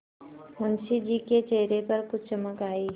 मुंशी जी के चेहरे पर कुछ चमक आई